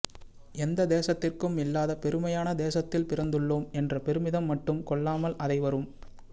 எந்த தேசத்திற்கும் இல்லாத பெருமையான தேசத்தில் பிறந்துள்ளோம் என்ற பெருமிதம் மட்டும் கொள்ளாமல் அதை வரும்